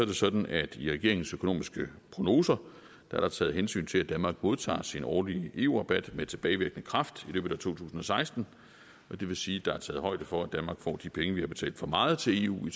det sådan at der i regeringens økonomiske prognoser er taget hensyn til at danmark modtager sin årlige eu rabat med tilbagevirkende kraft i løbet af to tusind og seksten og det vil sige at der er taget højde for at danmark får de penge vi har betalt for meget til eu